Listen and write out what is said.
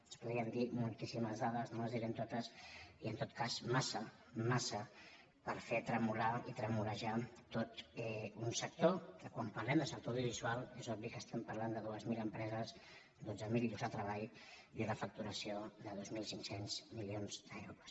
se’n podrien dir moltíssimes dades no les direm totes i en tot cas massa massa per fer tremolar i tremolejar tot un sector que quan parlem de sector audiovisual és obvi que estem parlant de dues mil empreses dotze mil llocs de treball i una facturació de dos mil cinc cents milions d’euros